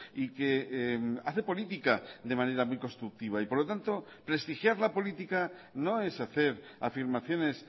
y que hace política de manera muy constructiva y por lo tanto prestigiar la política no es hacer afirmaciones